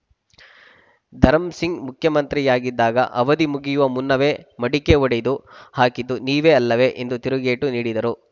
ಧರಂಸಿಂಗ್‌ ಮುಖ್ಯಮಂತ್ರಿಯಾಗಿದ್ದಾಗ ಅವಧಿ ಮುಗಿಯುವ ಮುನ್ನವೇ ಮಡಿಕೆ ಒಡೆದು ಹಾಕಿದ್ದು ನೀವೇ ಅಲ್ಲವೇ ಎಂದು ತಿರುಗೇಟು ನೀಡಿದರು